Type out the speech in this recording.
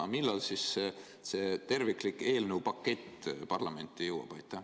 Aga millal siis see terviklik eelnõu pakett parlamenti jõuab?